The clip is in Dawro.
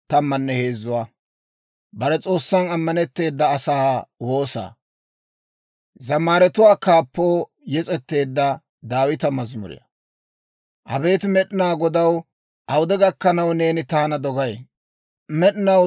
Abeet Med'inaa Godaw, awude gakkanaw neeni taana dogay? Med'inaw taana dogay? Awude gakkanaw neeni taappe geemmayi?